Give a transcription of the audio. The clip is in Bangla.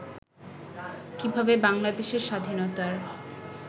কিভাবে বাংলাদেশের স্বাধীনতার